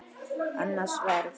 Annað sverð.